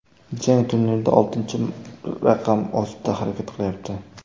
Jang turnirda oltinchi raqam ostida harakat qilyapti.